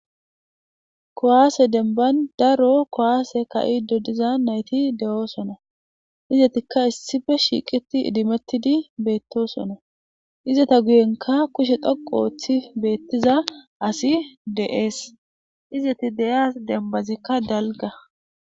Kowaase demban daro kowaase ka'ido diza nayti de'oo sona izetikka issife shiiqiti idimettidi beettosono izeta guyenka kushe dhoqo ooththi beettiza asi de7ees izeti de'eas dembazikka dalga.